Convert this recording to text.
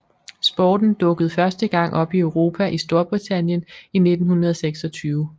Sporten dukkede første gang op i Europa i Storbritannien i 1926